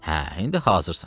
Hə, indi hazırsan.